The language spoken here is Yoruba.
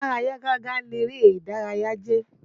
Amára yágágá léré ìdárayá jẹ́.